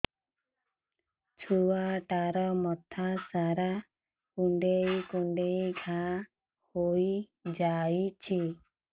ଛୁଆଟାର ମଥା ସାରା କୁଂଡେଇ କୁଂଡେଇ ଘାଆ ହୋଇ ଯାଇଛି